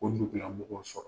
anw dugula mɔgɔw ka